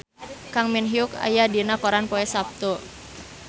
Kang Min Hyuk aya dina koran poe Saptu